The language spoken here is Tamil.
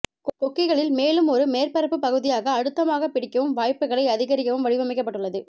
கொக்கிகளில் மேலும் ஒரு மேற்பரப்பு பகுதியாக அழுத்தமாக பிடிக்கவும் வாய்ப்புகளை அதிகரிக்கவும் வடிவமைக்கபட்டுள்ளது